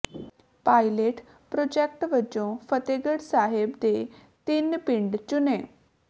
pilot project ਵਜੋਂ ਫਤਿਹਗੜ੍ਹ ਸਾਹਿਬ ਦੇ ਤਿੰਨ ਪਿੰਡ ਚੁਣੇ